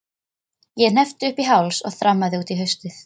Ég hneppti upp í háls og þrammaði út í haustið.